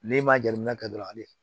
N'i ma jateminɛ kɛ dɔrɔn ale